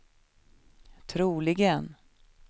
troligen